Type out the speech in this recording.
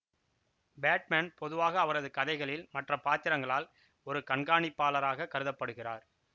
Batman பொதுவாக அவரது கதைகளில் மற்ற பாத்திரங்களால் ஒரு கண்காணிப்பாளராகக் கருத படுகிறார்